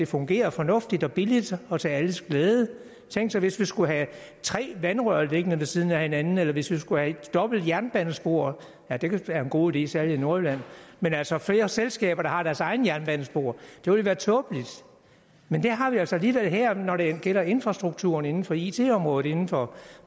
fungerer fornuftigt og billigt og til alles glæde tænk sig hvis vi skulle have tre vandrør liggende ved siden af hinanden eller hvis vi skulle have dobbelt jernbanespor ja det kan være en god idé særlig i nordjylland men altså flere selskaber der har deres egne jernbanespor det ville være tåbeligt men det har vi altså alligevel her når det gælder infrastrukturen inden for it området inden for